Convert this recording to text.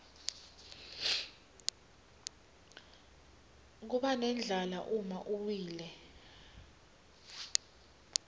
kubanendlala uma uwile